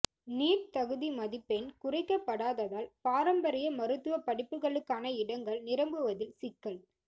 NEET தகுதி மதிப்பெண் குறைக்கப்படாததால் பாரம்பரிய மருத்துவ படிப்புகளுக்கான இடங்கள் நிரம்புவதில் சிக்கல்